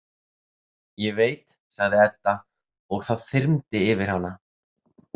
Ég veit, sagði Edda og það þyrmdi yfir hana.